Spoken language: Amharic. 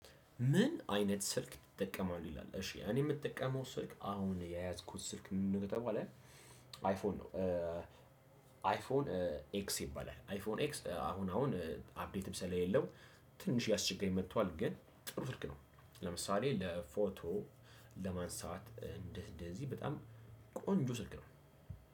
ምን አይነት ስልክ ትጠቀማለህ? ይላል እሺ እኔ የምጠቀመው ስልክ አሁን የያዝኩት ስልክ ምን ከተባለ አይፎን አይፎን ኤክስ ይባላል አይፎን ኤክስ አሁን አሁን አፕዴትም ስለሌለው ትንሽ ያስቸጋል የመጥቷል ግን ጥሩ ስልክ ነው። ለምሳሌ ለፎቶ ለማንሳት እንደህ እንደዚህ በጣም ቆንጆ ስልክ ነው።